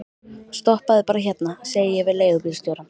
Stoppaðu bara hérna, segi ég við leigubílstjórann.